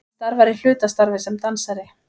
Hann starfar í hlutastarfi sem dansari